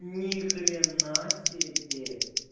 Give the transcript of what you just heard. ни хрена себе